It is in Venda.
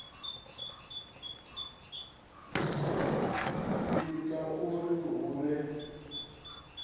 u ita uri hu vhe